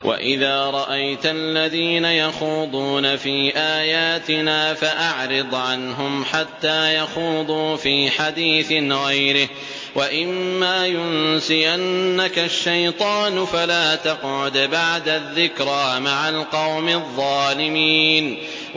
وَإِذَا رَأَيْتَ الَّذِينَ يَخُوضُونَ فِي آيَاتِنَا فَأَعْرِضْ عَنْهُمْ حَتَّىٰ يَخُوضُوا فِي حَدِيثٍ غَيْرِهِ ۚ وَإِمَّا يُنسِيَنَّكَ الشَّيْطَانُ فَلَا تَقْعُدْ بَعْدَ الذِّكْرَىٰ مَعَ الْقَوْمِ الظَّالِمِينَ